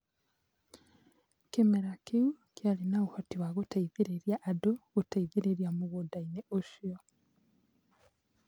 Kĩmera kĩu kĩarĩ na ũhoti wa gũteithĩrĩria andũ gũteithĩrĩria mũgũnda-inĩ ũcio.